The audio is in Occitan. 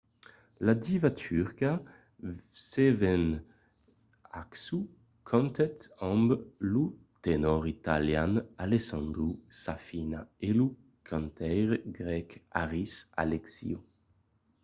la diva turca sezen aksu cantèt amb lo tenòr italian alessandro safina e lo cantaire grèc haris alexiou